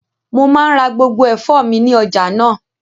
Mo maa ńra gbogbo ẹfọ mi ni ọja naa.